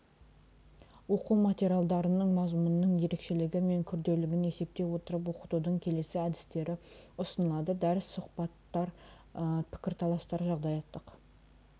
оқу материалдарының мазмұнының ерекшелігі мен күрделілігін есептей отырып оқытудың келесі әдістері ұсынылады дәріс сұхбаттар пікірталастар жағдаяттық